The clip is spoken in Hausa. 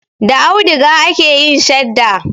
Da auduga ake yin shadda.